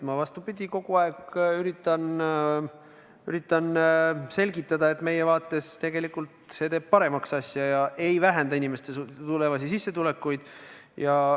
Ma, vastupidi, kogu aeg üritan selgitada, et meie vaates tegelikult see teeb asja paremaks ega vähenda inimeste tulevasi sissetulekuid.